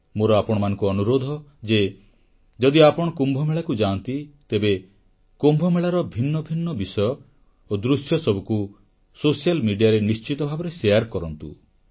ମୋର ଆପଣମାନଙ୍କୁ ଅନୁରୋଧ ଯେ ଯଦି ଆପଣ କୁମ୍ଭମେଳାକୁ ଯାଆନ୍ତି ତେବେ କୁମ୍ଭମେଳାର ଭିନ୍ନ ଭିନ୍ନ ବିଷୟ ଓ ଦୃଶ୍ୟସବୁକୁ ସାମାଜିକ ଗଣମାଧ୍ୟମରେ ନିଶ୍ଚିତ ଭାବେ ଆଦାନପ୍ରଦାନ କରନ୍ତୁ